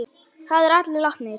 Þær eru allar látnar.